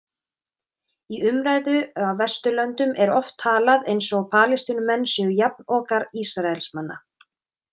Í umræðu á Vesturlöndum er oft talað eins og Palestínumenn séu jafnokar Ísraelsmanna.